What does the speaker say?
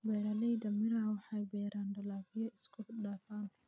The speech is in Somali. Beeralayda miraha waxay beeraan dalagyo isku dhafan.